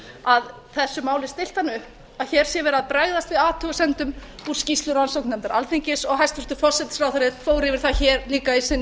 að þessu máli er þannig stillt þannig upp að hér sé verið að bregðast við athugasemdum úr skýrslu rannsóknarnefndar alþingis og hæstvirtur forsætisráðherra fór yfir það hér líka í sinni